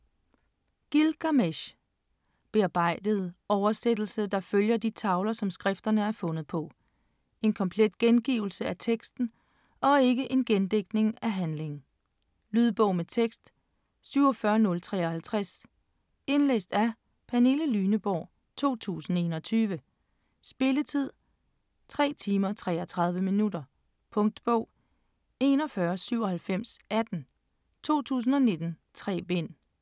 Gilgamesh Bearbejdet oversættelse der følger de tavler, som skrifterne er fundet på. En komplet gengivelse af teksten og ikke en gendigtning af handlingen. Lydbog med tekst 47053 Indlæst af Pernille Lyneborg, 2021. Spilletid: 3 timer, 33 minutter. Punktbog 419718 2019. 3 bind.